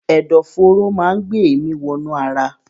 Ẹ̀dọ̀ fóóró máa ń gbé èémi wọ inú ara.